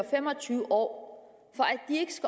fem og tyve år